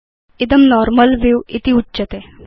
इदं normal view उच्यते